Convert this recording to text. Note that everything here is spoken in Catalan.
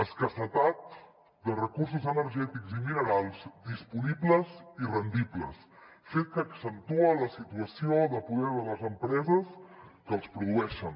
escassetat de recursos energètics i minerals disponibles i rendibles fet que accentua la situació de poder de les empreses que els produeixen